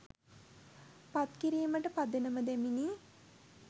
පත් කිරීමට පදනම දැමිණි.